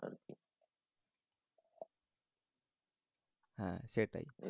হ্যাঁ সেটাই